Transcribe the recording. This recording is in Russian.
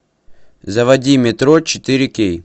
заводи метро четыре кей